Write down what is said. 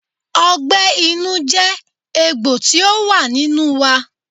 Ọgbẹ́ inú jẹ́ egbò tí ó wà nínú wa.